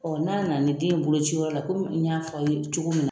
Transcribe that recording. n'a nana ni den ye boloci yɔrɔ la komi n y'a fɔ a ye cogo min na.